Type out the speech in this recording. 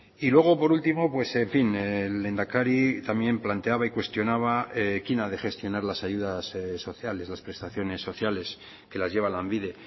y luego por último pues en fin el lehendakari también planteaba y cuestionaba quién ha de gestionar las ayudas sociales las prestaciones sociales que las lleva lanbide